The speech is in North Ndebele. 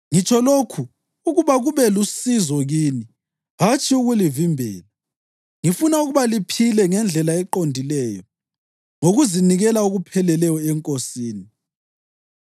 Ngitsho lokhu ukuba kube lusizo kini, hatshi ukulivimbela. Ngifuna ukuba liphile ngendlela eqondileyo ngokuzinikela okupheleleyo eNkosini.